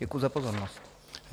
Děkuju za pozornost.